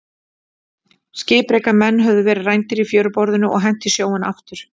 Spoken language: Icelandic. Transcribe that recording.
Skipreika menn höfðu verið rændir í fjöruborðinu og hent í sjóinn aftur.